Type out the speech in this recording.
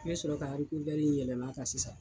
N bɛ sɔrɔ ka harikovɛri in yɛlɛma kan sisan.